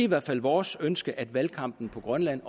hvert fald vores ønske at valgkampen på grønland